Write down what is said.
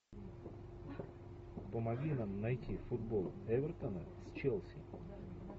помоги нам найти футбол эвертона с челси